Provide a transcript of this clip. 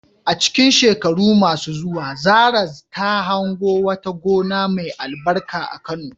A cikin shekaru masu zuwa, Zarah ta hango wata gona mai albarka a Kano.